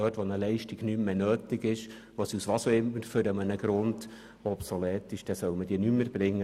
Wenn eine Leistung nicht mehr nötig ist, soll sie nicht mehr erbracht werden.